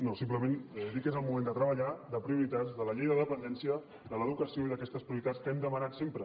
no simplement dir que és el moment de treballar de prioritats de la llei de la dependència de l’educació i d’aquestes prioritats que hem demanat sempre